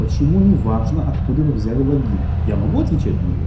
почему неважно откуда вы взяли логин я могу отвечать на него